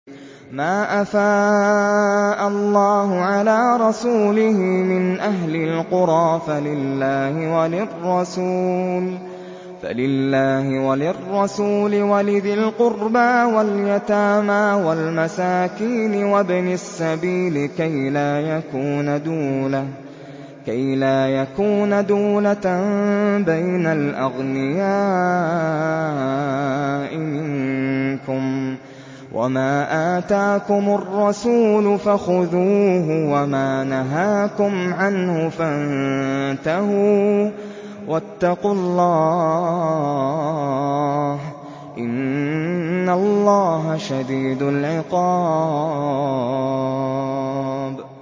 مَّا أَفَاءَ اللَّهُ عَلَىٰ رَسُولِهِ مِنْ أَهْلِ الْقُرَىٰ فَلِلَّهِ وَلِلرَّسُولِ وَلِذِي الْقُرْبَىٰ وَالْيَتَامَىٰ وَالْمَسَاكِينِ وَابْنِ السَّبِيلِ كَيْ لَا يَكُونَ دُولَةً بَيْنَ الْأَغْنِيَاءِ مِنكُمْ ۚ وَمَا آتَاكُمُ الرَّسُولُ فَخُذُوهُ وَمَا نَهَاكُمْ عَنْهُ فَانتَهُوا ۚ وَاتَّقُوا اللَّهَ ۖ إِنَّ اللَّهَ شَدِيدُ الْعِقَابِ